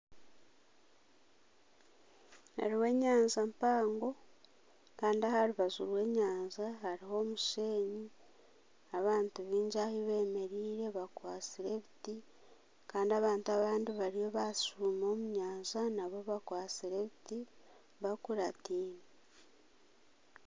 Haruho enyanja mpango Kandi aharubaju rw'enyanja haruho omushenyi abantu bingi ahubemereire bakwasire ebiti Kandi abantu abandi bariyo bashuuma omunyanja nabo bakwasire ebiti bakuratine.